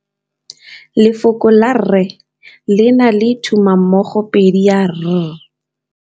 Lefoko la rre, le na le tumammogôpedi ya, r.